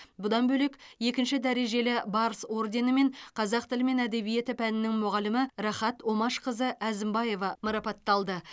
бұдан бөлек екінші дәрежелі барыс орденімен қазақ тілі мен әдебиеті пәнінің мұғалімі рахат омашқызы әзімбаева марапатталды